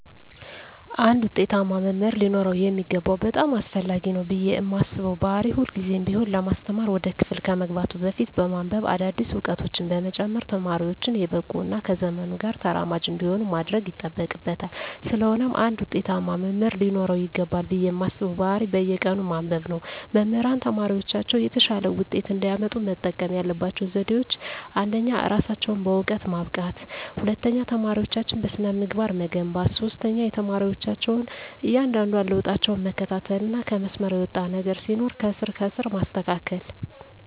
አንድ ውጤታማ መምህር ሊኖረው የሚገባው በጣም አስፈላጊ ነው ብየ ማስበው ባህሪ ሁልግዜም ቢሆን ለማስተማር ወደ ክፍል ከመግባቱ በፊት በማንብበ አዳዲስ እውቀቶችን በመጨመር ተማሪወቹን የበቁ እና ከዘመኑ ጋር ተራማጅ እንዲሆኑ ማድረግ ይጠበቅበታል ስለሆነም አንድ ውጤታማ መምህር ሊኖረው ይገባል ብየ ማስበው ባህሪ በየቀኑ ማንበብ ነው። መምህራን ተማሪወቻቸው የተሻለ ውጤት እንዲያመጡ መጠቀም ያለባቸው ዘዴወች አንደኛ እራሳቸውን በእውቀት ማብቃት፣ ሁለተኛ ተማሪወቻቸውን በስነ-ምግባር መገንባት፣ ሶስተኛ የተማሪወቻቸውን እያንዳንዷን ለውጣቸውን መከታተልና ከመስመር የወጣ ነገር ሲኖር ከስር ከስር ማስተካከል።